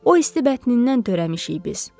O isti bətnindən törəmişik biz.